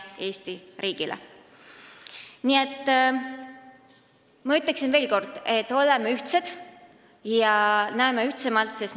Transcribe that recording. Nii et ma ütlen veel kord, et oleme ühtsed ja näeme asju ühtsemalt!